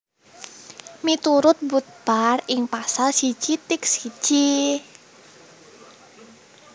Miturut Budpar ing Pasal siji tiitk siji